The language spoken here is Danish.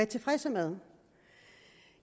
tilfreds med